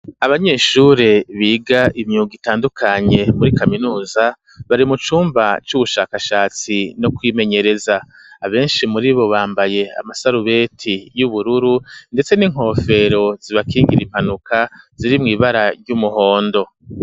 Abanyeshure biga imyuga itandukanye muri kaminuza bari mu cumba c'ubushakashatsi no kwimenyereza abenshi muribo bambaye amasarubeti y'ubururu ndetse n'inkofero zibakingira impanuka ziri mw'ibara ry'umuhondo.